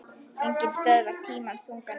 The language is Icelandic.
Enginn stöðvar tímans þunga nið